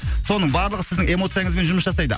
соның барлығы сіздің эмоцияңызбен жұмыс жасайды